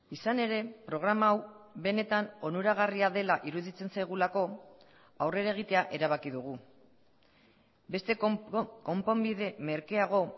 izan ere programa hau benetan onuragarria dela iruditzen zaigulako aurrera egitea erabaki dugu beste konponbide merkeago